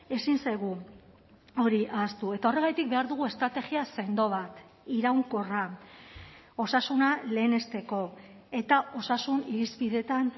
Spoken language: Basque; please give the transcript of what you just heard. ezin zaigu hori ahaztu eta horregatik behar dugu estrategia sendo bat iraunkorra osasuna lehenesteko eta osasun irizpideetan